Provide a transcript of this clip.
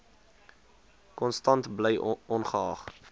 konstant bly ongeag